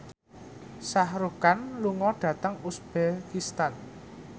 Shah Rukh Khan lunga dhateng uzbekistan